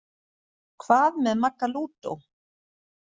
Hvað með Magga lúdó?